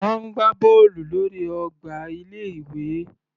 Wọ́n ń gbá bọ́ọ̀lù lórí ọgbà ilé ìwé.